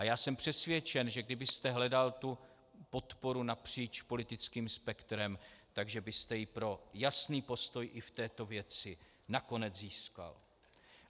A já jsem přesvědčen, že kdybyste hledal tu podporu napříč politickým spektrem, takže byste ji pro jasný postoj i v této věci nakonec získal.